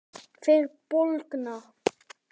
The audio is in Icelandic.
Þeir bólgna.